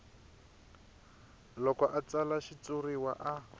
loko a tsala xitshuriwa a